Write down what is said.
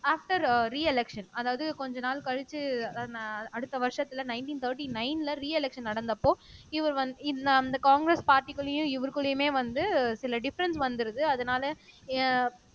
after re- election அதாவது கொஞ்ச நாள் கழிச்சு அதாவது அடுத்த வருஷத்துல நைன்டீன் தேர்ட்டி நைன்ல ரீ- எலெக்ஷன் நடந்தப்போ இவர் வந்து அந்த காங்கிரஸ் பார்ட்டிக்குள்ளயும் இவருக்குள்ளயுமே வந்து சில டிஃபரென்ஸ் வந்திருது அதனால அஹ்